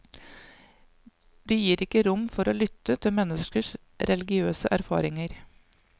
De gir ikke rom for å lytte til menneskers religiøse erfaringer.